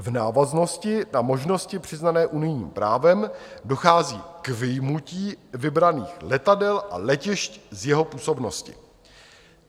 V návaznosti na možnosti přiznané unijním právem dochází k vyjmutí vybraných letadel a letišť z jeho působnosti.